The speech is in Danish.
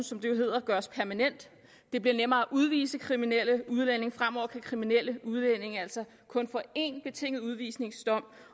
som det jo hedder gøres permanent og det bliver nemmere at udvise kriminelle udlændinge fremover kan kriminelle udlændinge altså kun få én betinget udvisningsdom